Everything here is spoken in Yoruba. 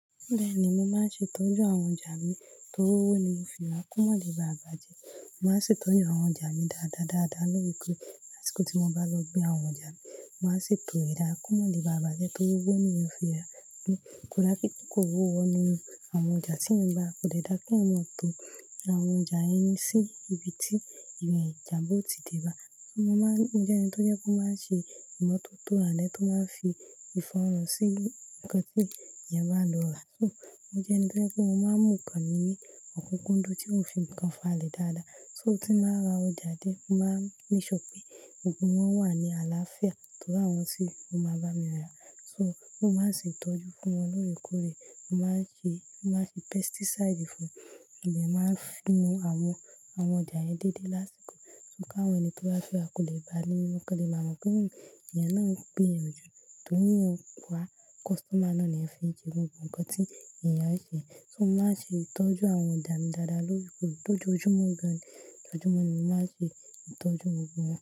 Bẹ́ẹ̀ni, mo máa ń ṣe ìtọ́jú àwọn ọjà mi. Torí owó ni mo fi ra, kó má le bàbàjẹ́. Mo máa ń ṣe ìtọ́jú àwọn ọjà mi dáadáa, dáadáa lórí koro lásìkò tí mo bá lọ gbé àwọn ọjà mi. Mo máa ń ṣètò ẹ̀dàá, kó má di bàbàjẹ́ torí owó ni èmi ó fi ra. Kò dá kí ó kó owó inu mi. Àwọn ọjà tí ẹ̀mí bá kó dédá kí wọ́n tó ra àwọn ọjà yẹn sí ibi tí ìwé ìjàǹbó ti dé bá. Mo maa n jẹ́ ẹni tó jẹ́ kó máa ṣe ìmọ́tótó àlẹ́ tó máa fi ìfọ̀rọ̀ sí nǹkan tí èèyàn bá lò rà. Mo jẹ́ ẹni tí mo máa ń mú nǹkan mi ní ọ̀kúnkúndùn tí mo fi ǹkan fáa lẹ dáadáa. Só tí màá ra ọjà dé, mo máa níṣọ pé gbogbo wọ́n wà ní àlàáfíà torí àwọn tí mo máa bá mi rà. So mo máa ń ṣe ìtọ́jú fún wọn lóòrèkóòrè. Mo máa ń fi pesticide fún. Ẹ̀mi máa ń fínú àwọn, àwọn ọjà yẹn déédéé lásìkò. Só káwọ́ ẹni tó bá fẹ́ ra kò lè ba ni mímọ́. Kọ́ní máa mọ̀ pé èèyàn náà ń pè yan jù torí ẹ̀yàn kọ́, kọ̀stọ́mà náà ni ẹ fi ń jẹ gbogbo ǹkan tí èèyàn ń ṣe. So mo máa ń ṣe ìtọ́jú àwọn ọjà mi dáadáa lóòrèkóòrè. Bo ju ojúmọ́ kan, ojúmọ́ mi, mo máa ṣe ìtọ́jú gbogbo wọ́n.